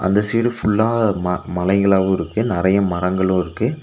அந்த சைடு ஃபுல்லா ம மலைகளாவு இருக்கு நறைய மரங்களு இருக்கு.